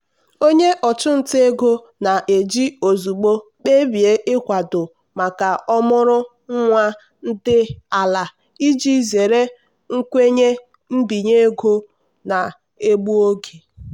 onye ọchụnta ego na-eji ozugbo kpebie ịkwado maka ọmụrụ nwa dị ala iji zere nkwenye mbinye ego na-egbu oge.